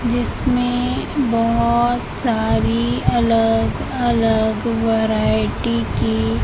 जिसमें बहोत सारी अलग अलग वैरायटी की--